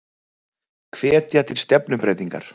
Hvetja til stefnubreytingar